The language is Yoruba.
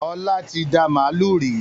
Ọlá tí dá màálù rí.